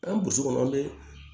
An ye bosi kɔnɔ an be